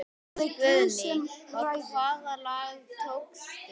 Guðný: Og hvaða lag tókstu?